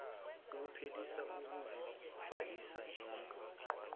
ephelisa ukuzibhalisa njengomqoqi